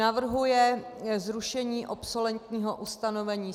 Navrhuje zrušení obsolentního ustanovení.